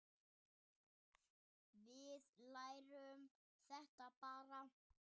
Við lærum þetta bara.